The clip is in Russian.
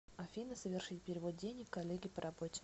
афина совершить перевод денег коллеге по работе